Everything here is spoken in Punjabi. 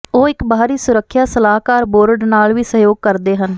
ਉਹ ਇੱਕ ਬਾਹਰੀ ਸੁਰੱਖਿਆ ਸਲਾਹਕਾਰ ਬੋਰਡ ਨਾਲ ਵੀ ਸਹਿਯੋਗ ਕਰਦੇ ਹਨ